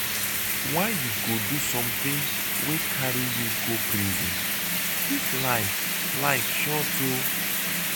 why you go do something wey carry you go prison ?dis life life short oo.